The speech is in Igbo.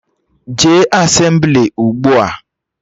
Jee Asemblị ugbua!